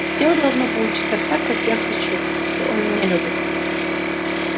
всё должно получиться так как я хочу если он меня любит